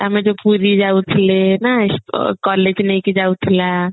ଆମେ ଯୋଉ ପୁରୀ ଯାଉଥିଲେ ନା କ କ କ collage ନେଇକି ଯାଉଥିଲା